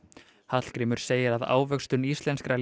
Hallgrímur segir að ávöxtun íslenskra